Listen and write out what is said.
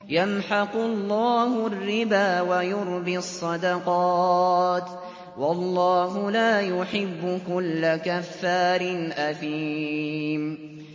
يَمْحَقُ اللَّهُ الرِّبَا وَيُرْبِي الصَّدَقَاتِ ۗ وَاللَّهُ لَا يُحِبُّ كُلَّ كَفَّارٍ أَثِيمٍ